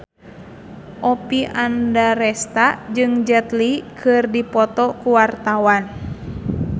Oppie Andaresta jeung Jet Li keur dipoto ku wartawan